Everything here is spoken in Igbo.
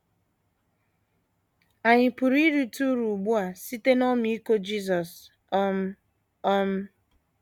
Ànyị pụrụ irite uru ugbu a site n’ọmịiko Jisọs? um ’ um